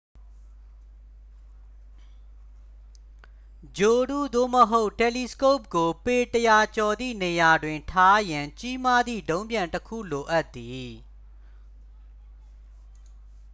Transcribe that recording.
ဂြိုဟ်တု သို့မဟုတ် တယ်လီစကုပ်ကို ပေ 100 ကျော်သည့် နေရာတွင် ထားရန် ကြီးမားသည့် ဒုံးပျံတစ်ခုလိုအပ်သည်